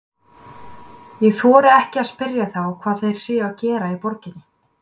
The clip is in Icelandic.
Ég þori ekki að spyrja þá hvað þeir séu að gera í borginni.